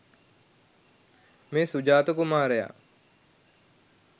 මේ සුජාත කුමාරයා